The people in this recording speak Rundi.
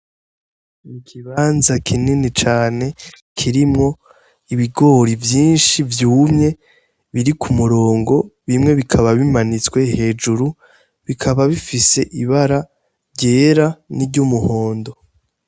I kibanza kinini cane kirimwo ibigori vyinshi vyumye biri ku murongo bimwe bikaba bimanitswe hejuru bikaba bifise ibara ryera n'i ry'umuhondo.